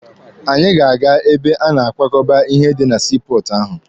Anyị ga-aga ebe a na-akwakọba ihe dị na sii pọọtụ ahụ.